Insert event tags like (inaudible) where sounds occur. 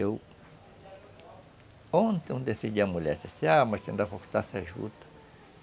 Eu... Ontem eu decidi à mulher, disse assim, ah, mas (unintelligible) cortar essa juta.